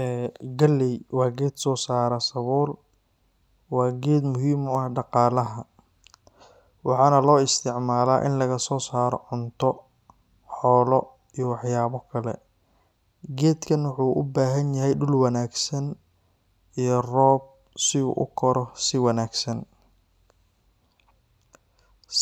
Eee galey waa geed sare oo soo saara sabuul. Waa geed muhiim u ah dhaqaalaha, waxaana loo isticmaalaa in laga soo saaro cunto, xoolo, iyo waxyaabo kale. Geedkan wuxuu u baahan yahay dhul wanaagsan iyo roob si uu u koro si wanaagsan.: